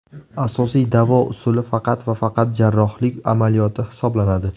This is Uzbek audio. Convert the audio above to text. Asosiy davo usuli faqat va faqat jarrohlik amaliyoti hisoblanadi.